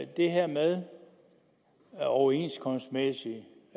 det her med den overenskomstmæssige